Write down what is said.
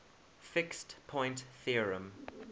fixed point theorem